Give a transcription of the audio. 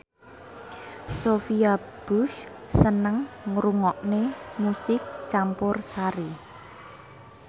Sophia Bush seneng ngrungokne musik campursari